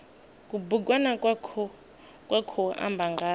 kubugwana kwa khou amba nga